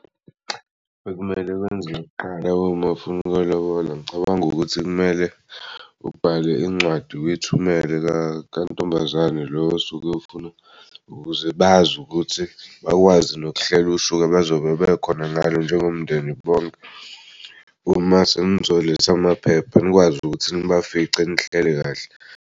Bekumele wenze kuqala mawufuna ukuyolobola ngicabanga ukuthi kumele ubhale incwadi uyithumele kwantombazane lo osuke ufuna ukuze bazi ukuthi bakwazi nokuhlela usuka bazobe bekhona ngalo njengomndeni bonke. Uma senzoletha amaphepha nikwazi ukuthi nibafice nihlele kahle.